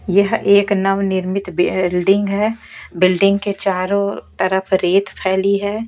यह एक नव निर्मित बिल्डिंग है बिल्डिंग के चारों तरफ रेत फैली है।